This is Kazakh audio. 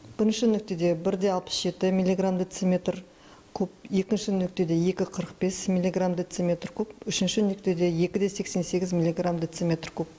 бірінші нүктеде бір де алпыс жеті миллиграмм дециметр куб екінші нүктеде екі қырық бес миллиграмм дециметр куб үшінші нүктеде екі де сексен сегіз миллиграмм дециметр куб